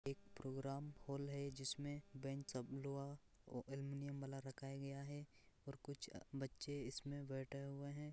एक programme hall है जिसमे बेंच सब लोहा एलेमुनियम वाला रखाया गया है और कुछ बच्चे इसमें बैठे हुए हैं।